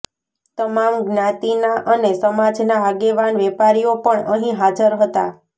તમામ જ્ઞાાતીના અને સમાજના આગેવાન વેપારીઓ પણ અહી હાજર હતા